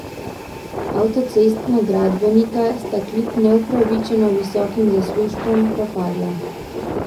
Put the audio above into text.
Avtocestna gradbenika sta kljub neupravičeno visokim zaslužkom propadla.